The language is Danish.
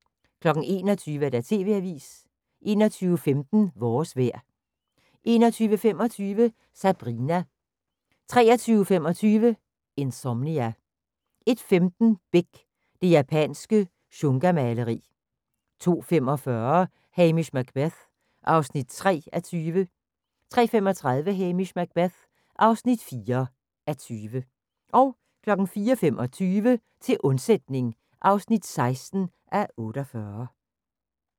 21:00: TV-avisen 21:15: Vores vejr 21:25: Sabrina 23:25: Insomnia 01:15: Beck: Det japanske shungamaleri 02:45: Hamish Macbeth (3:20) 03:35: Hamish Macbeth (4:20) 04:25: Til undsætning (16:48)